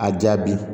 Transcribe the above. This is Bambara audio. A jaabi